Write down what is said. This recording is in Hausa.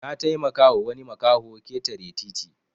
Nataimaka wa wani makaho ketare titi